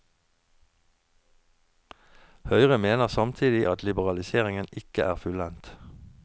Høyre mener samtidig at liberaliseringen ikke er fullendt.